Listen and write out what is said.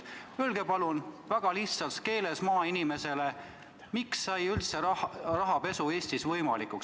Öelge palun väga lihtsas keeles maainimesele, miks sai rahapesu Eestis üldse võimalikuks.